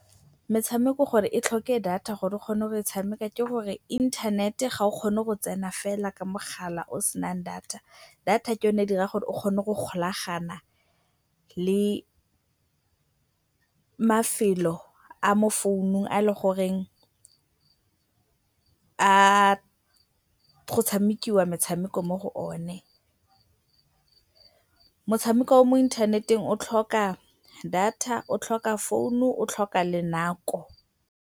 Metshameko gore e tlhoke data gore o kgone go e tshameka ke gore inthanete ga o kgone go tsena fela ka mogala o o senang data. Data ke yone e dirang gore o kgone go golagana le mafelo a a mo founung a e leng gore go tshamekiwa metshameko mo go one. Motshameko o o mo inthaneteng o tlhoka data, o tlhoka founu, o tlhoka le nako.